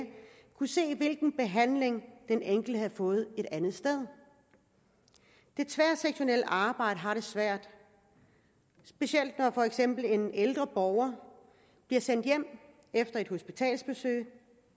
kunne se hvilken behandling den enkelte havde fået et andet sted det tværsektorielle arbejde har det svært specielt når for eksempel en ældre borger bliver sendt hjem efter et hospitalsbesøg